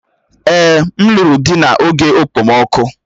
Èè, m lụrụ di n'oge okpomọkụ